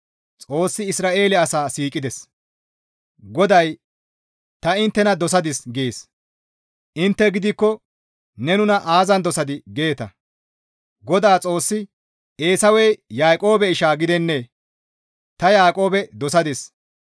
GODAY, «Ta inttena dosadis» gees; intte gidikko, «Ne nuna aazan dosadii?» geeta. Godaa Xoossi, «Eesawey Yaaqoobe isha gidennee? Ta Yaaqoobe dosadis.